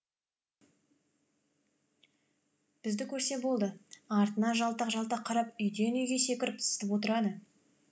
бізді көрсе болды артына жалтақ жалтақ қарап үйден үйге секіріп зытып отырады